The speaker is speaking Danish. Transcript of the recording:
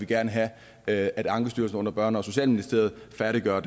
gerne have at at ankestyrelsen under børne og socialministeriet færdiggør